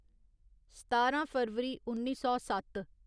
सतारां फरवरी उन्नी सौ सत्त